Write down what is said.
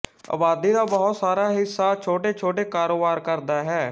ਅਬਾਦੀ ਦਾ ਬਹੁਤ ਸਾਰਾ ਹਿੱਸਾ ਛੋਟੇਛੋਟੇ ਕਾਰੋਬਾਰ ਕਰਦਾ ਹੈ